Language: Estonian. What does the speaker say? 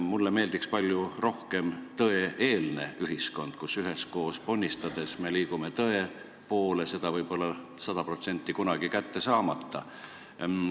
Mulle meeldiks palju rohkem "tõe-eelne ühiskond" – üheskoos ponnistades me liigume tõe poole, seda võib-olla sada protsenti kunagi kätte saamata.